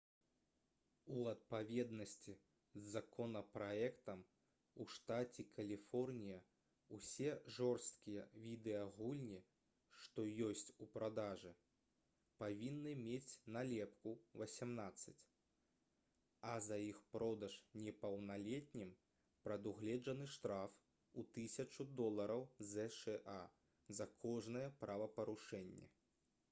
у адпаведнасці з законапраектам у штаце каліфорнія ўсе жорсткія відэагульні што ёсць у продажы павінны мець налепку «18» а за іх продаж непаўналетнім прадугледжаны штраф у 1000 долараў зша за кожнае правапарушэнне